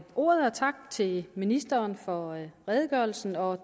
ordet tak til ministeren for redegørelsen og